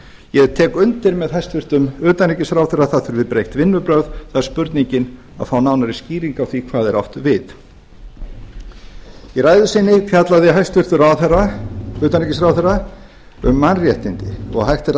ég tek undir með hæstvirtum utanríkisráðherra að það þurfi breytt vinnubrögð það er spurningin að fá nánari skýringu á því hvað er átt við í ræðu sinni fjallaði hæstvirts utanríkisráðherra kom mannréttindi og hægt er að